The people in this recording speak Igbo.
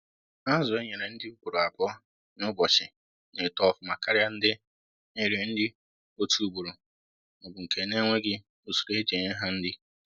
Azu e nyere nri ugboro abụọ na-ụbọchi na eto ọfụma karịa ndị e nyere nri otu ugboro ma ọ bụ nke na-enweghị usoro eji enye ha nri